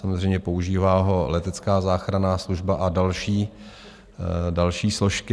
Samozřejmě, používá ho Letecká záchranná služba a další složky.